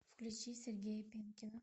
включи сергея пенкина